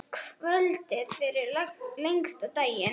Kvöldið fyrir lengsta daginn.